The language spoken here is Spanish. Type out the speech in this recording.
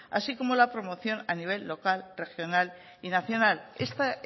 así como la promoción a nivel local regional y nacional esta